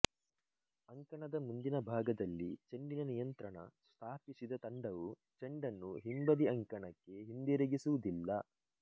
ಅಂಕಣದ ಮುಂದಿನ ಭಾಗದಲ್ಲಿ ಚೆಂಡಿನ ನಿಯಂತ್ರಣ ಸ್ಥಾಪಿಸಿದ ತಂಡವು ಚೆಂಡನ್ನು ಹಿಂಬದಿ ಅಂಕಣಕ್ಕೆ ಹಿಂದಿರುಗಿಸುವುದಿಲ್ಲ